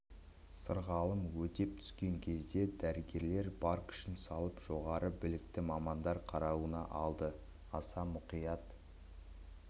сырғалым өтеп түскен кезде дәрігерлер бар күшін салып жоғары білікті мамандар қарауына алды аса мұқият